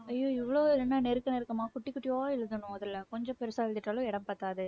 ஐயோ இவ்வளவு என்ன நெருக்க நெருக்கமா குட்டி குட்டியா எழுதணும் அதுல கொஞ்சம் பெருசா எழுதிட்டாலும் இடம் பத்தாது.